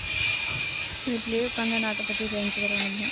வீட்டிலேயே உக்காந்து நாட்டைப் பத்தி தெரிஞ்சுக்கிறோம் நம்ம